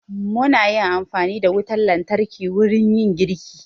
Mu na yin amfani da wutar lantarki wurin yin girki